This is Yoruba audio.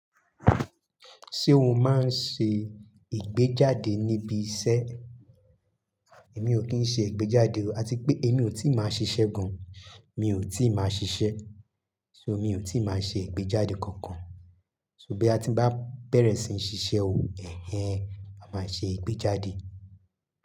Ṣé o máa ń ṣe ìgbéjáde níbi iṣẹ́? Èmi ò kí ń ṣe ìgbéjáde o, àti pé èmi ò tíì máa ṣiṣẹ́ gan. Mi ò tíì máa ṣiṣẹ́, so mi ò tí ì máa ṣe ìgbéjáde kankan. Só boya tí n bá bẹ̀rẹ̀ síi ṣiṣẹ́ o, ẹhen ma máa ṣe ìgbéjáde.